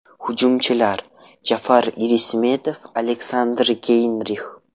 Hujumchilar: Jafar Irismetov, Aleksandr Geynrix.